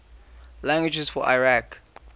languages of iraq